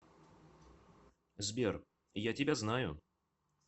сбер я тебя знаю